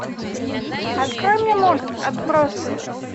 открой мне мульт отбросы